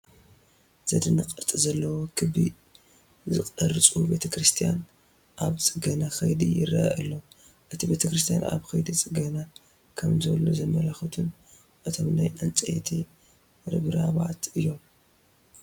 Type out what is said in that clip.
ዘድንቕ ቅርፂ ዘለዎ ክቢ ዝቕርፁ ቤተ ክርስቲያን ኣብ ፅገና ከይዲ ይርአ ኣሎ፡፡ እቲ ቤተ ክርስቲያን ኣብ ከይዲ ዕገና ከምዘሎ ዘመላኽቱና እቶም ናይ ዕንጨይቲ ርብራባት እዮም፡፡